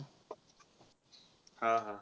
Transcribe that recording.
हा, हा.